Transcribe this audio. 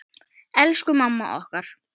Elsku mamma okkar.